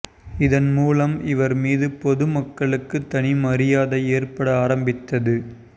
இதன் மூலம் இவர் மீது பொதுமக்களுக்கு தனி மரியாதை ஏற்பட ஆரம்பித்தது